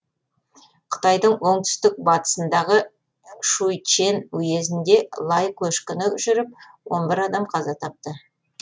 қытайдың оңтүстік батысындағы шуйчэн уезінде лай көшкіні жүріп он бір адам қаза тапты